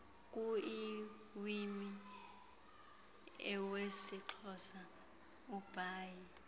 kuiwimi iwesixhosa ubhaie